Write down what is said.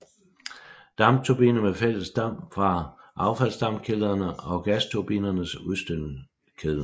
Dampturbine med fælles damp fra affaldsdampkedlerne og gasturbinens udstødningskedlen